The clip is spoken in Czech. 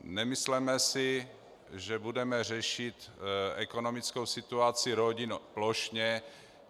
Nemysleme si, že budeme řešit ekonomickou situaci rodin plošně.